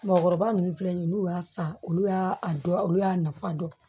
Mɔgɔkɔrɔba nunnu filɛ nin ye n'u y'a san olu y'a dɔn olu y'a nafa dɔn